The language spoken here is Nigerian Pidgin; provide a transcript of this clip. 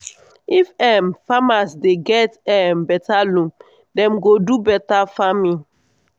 if um farmers dey get um beta loan dem go do beta farming.